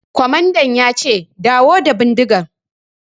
Kwamandan ya ce 'Dawo da bindigan'!